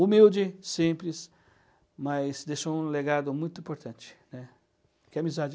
Humilde, simples, mas deixou um legado muito importante, né, que é amizade.